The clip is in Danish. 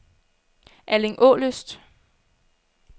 Allingålyst